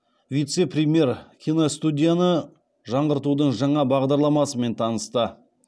вице премьер киностудияны жаңғыртудың жаңа бағдарламасымен танысты